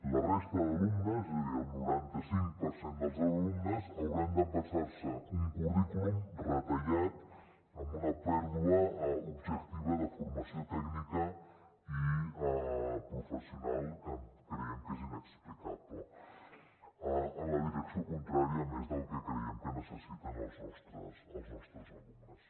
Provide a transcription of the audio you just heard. la resta d’alumnes és a dir el noranta cinc per cent dels alumnes hauran d’empassar se un currículum retallat amb una pèrdua objectiva de formació tècnica i professional que creiem que és inexplicable en la direcció contrària a més del que creiem que necessiten els nostres alumnes